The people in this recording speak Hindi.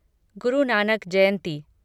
गुरु नानक जयंती